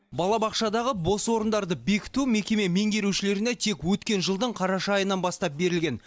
балабақшадағы бос орындарды бекіту мекеме меңгерушілеріне тек өткен жылдың қараша айынан бастап берілген